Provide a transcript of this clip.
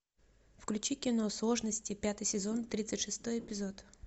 включи кино сложности пятый сезон тридцать шестой эпизод